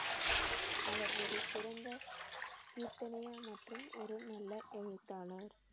அவர் ஒரு சிறந்த மற்றும் ஒரு நல்ல எழுத்தாளர்